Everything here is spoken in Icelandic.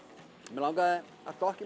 mig langaði að